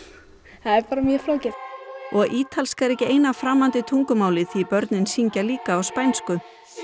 það er bara mjög flókið og ítalska er ekki eina framandi tungumálið því börnin syngja líka á spænsku